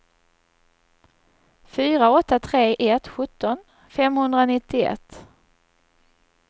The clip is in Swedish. fyra åtta tre ett sjutton femhundranittioett